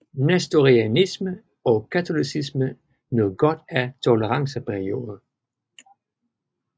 Nestorianisme og katolicisme nød godt af en toleranceperiode